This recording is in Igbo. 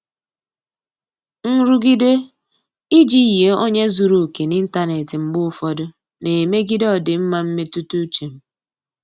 Nrụgide iji yie onye zuru oke n'ịntanetị mgbe ụfọdụ na-emegide ọdịmma mmetụta uche m.